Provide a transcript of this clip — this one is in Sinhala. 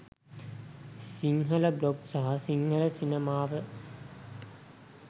සිංහල බ්ලොග් සහ සිංහල සිනමාව